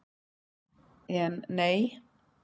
En, nei!